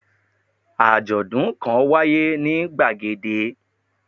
Àjòdún kan wáyé ní gbàgede